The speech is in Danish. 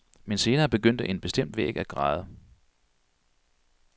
Men senere begyndte en bestemt væg at græde.